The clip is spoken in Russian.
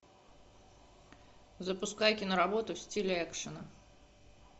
запускай киноработу в стиле экшена